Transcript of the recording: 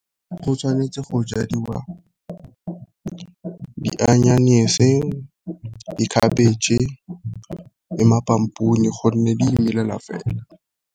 Go tshwanetse go jadiwa di , dikhabetšhe, le gonne di imelela fela.